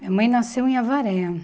Minha mãe nasceu em Avaré.